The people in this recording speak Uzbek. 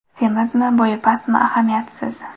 Semizmi, bo‘yi pastmi ahamiyatisiz.